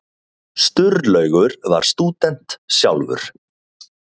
Sturlaugur var stúdent sjálfur.